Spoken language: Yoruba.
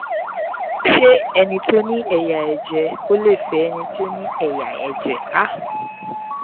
ṣé ẹni tó ní ẹ̀yà ẹ̀jẹ̀ o lè fẹ́ ẹni tó ní ẹ̀yà ẹ̀jẹ̀ a?